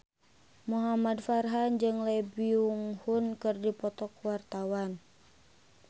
Muhamad Farhan jeung Lee Byung Hun keur dipoto ku wartawan